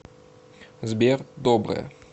сбер доброе